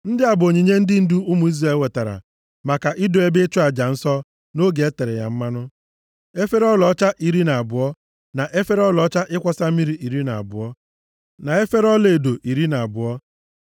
Ndị a bụ onyinye ndị ndu ụmụ Izrel wetara maka ido ebe ịchụ aja nsọ nʼoge e tere ya mmanụ: efere ọlaọcha iri na abụọ, na efere ọlaọcha ịkwọsa mmiri iri na abụọ, na efere ọlaedo iri na abụọ.